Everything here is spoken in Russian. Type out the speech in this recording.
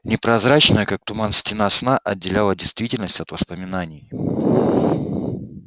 непрозрачная как туман стена сна отделяла действительность от воспоминаний